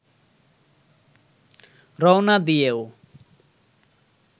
রওনা দিয়েও